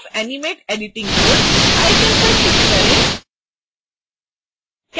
turn off animate editing mode icon पर click करें